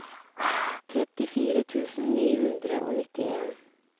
trettifire tusen ni hundre og nittien